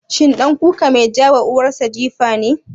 Shi ɗan kuka mai ja wa uwar sa jifa ne?